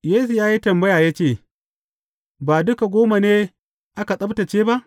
Yesu ya yi tambaya ya ce, Ba duka goma ne aka tsabtacce ba?